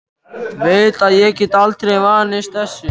Veit að ég get aldrei vanist þessu.